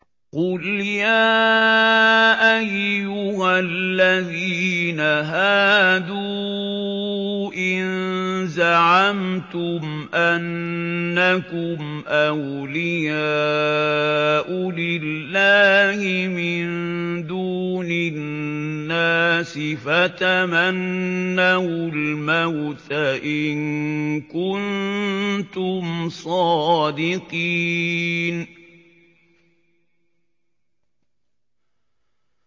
قُلْ يَا أَيُّهَا الَّذِينَ هَادُوا إِن زَعَمْتُمْ أَنَّكُمْ أَوْلِيَاءُ لِلَّهِ مِن دُونِ النَّاسِ فَتَمَنَّوُا الْمَوْتَ إِن كُنتُمْ صَادِقِينَ